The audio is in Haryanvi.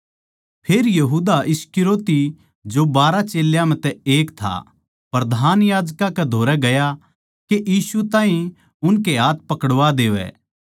फेर यहूदा इस्करियोती जो बारहा चेल्यां म्ह तै एक था प्रधान याजकां कै धोरै गया के यीशु ताहीं उनके हाथ पकड़वा देवै